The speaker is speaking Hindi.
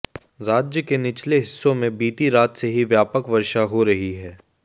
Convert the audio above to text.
राज्य के निचले हिस्सों में बीती रात से ही व्यापक वर्षा हो रही है